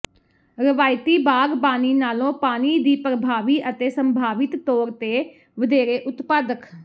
ਰਵਾਇਤੀ ਬਾਗ਼ਬਾਨੀ ਨਾਲੋਂ ਪਾਣੀ ਦੀ ਪ੍ਰਭਾਵੀ ਅਤੇ ਸੰਭਾਵਿਤ ਤੌਰ ਤੇ ਵਧੇਰੇ ਉਤਪਾਦਕ